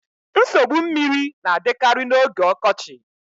Nsogbu mmiri na-adịkarị n'oge ọkọchị